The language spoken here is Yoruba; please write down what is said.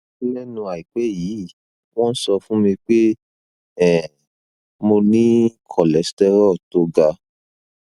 lẹnu àìpẹ yìí wọn sọ fún mi pé um mo ní cholesterol tó ga